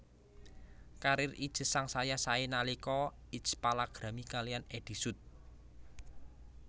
Karir Itje sangsaya saé nalika Itje palakrami kaliyan Eddy Sud